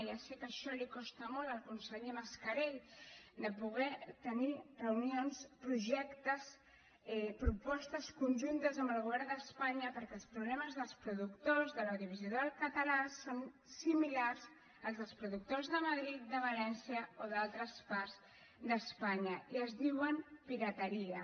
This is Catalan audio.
ja sé que això li costa molt al conseller mascarell de poder tenir reunions projectes propostes conjuntes amb el govern d’espanya perquè els problemes dels productors de l’audiovisual català són similars als dels productors de madrid de valència o d’altres parts d’espanya i es diuen pirateria